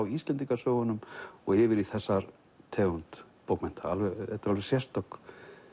Íslendingasögunum og yfir í þessa tegund bókmennta þetta er alveg sérstök